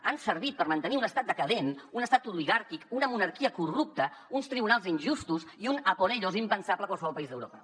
han servit per mantenir un estat decadent un estat oligàrquic una monarquia corrupta uns tribunals injustos i un a por ellos impensable a qualsevol país d’europa